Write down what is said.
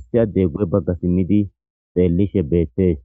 issi addey gu7e bagga simmidi xeellishe beettees.